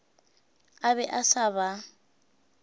a be a sa ba